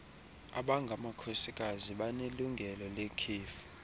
abangamakhosikazi banelungelo lekhefu